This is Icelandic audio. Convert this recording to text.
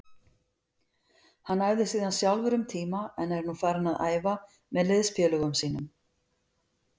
Hann æfði síðan sjálfur um tíma en er nú farinn að æfa með liðsfélögum sínum.